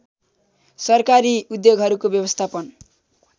सरकारी उद्योगहरूको व्यवस्थापन